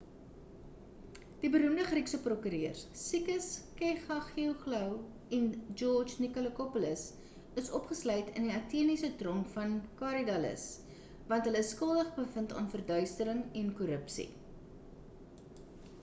die beroemde griekse prokureurs sakis kechagioglou en george nikolakopoulos is opgesluit in die ateniese tronk van korydallus want hulle is skuldig bevind aan verduistering en korrupsie